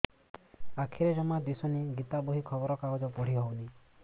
ଆଖିରେ ଜମା ଦୁଶୁନି ଗୀତା ବହି ଖବର କାଗଜ ପଢି ହଉନି